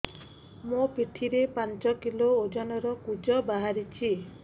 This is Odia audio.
ମୋ ପିଠି ରେ ପାଞ୍ଚ କିଲୋ ଓଜନ ର କୁଜ ବାହାରିଛି